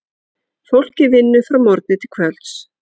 Fólkið vinnur frá morgni til kvölds.